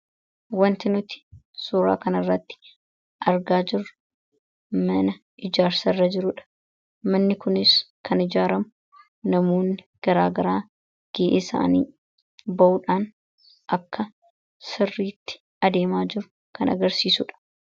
wanti nuti suuraa kan irratti argaa jiru mana ijaarsa irra jiruudha manni kunis kan ijaaramu namuunni garaagaraa gii isaanii ba'uudhaan akka sirriitti adeemaa jiru kan agarsiisuudha